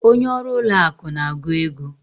Onye ọrụ ụlọ akụ na-agụ ego.